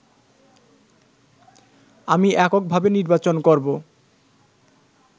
আমি এককভাবে নির্বাচন করবো